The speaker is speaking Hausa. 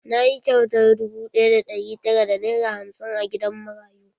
Na yi kyautar dubu ɗaya da ɗari tara da nera hamsin a gidan marayu.